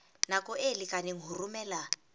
nako e lekaneng ho romela